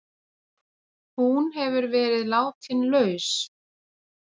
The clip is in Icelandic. Hún hefur verið látin laus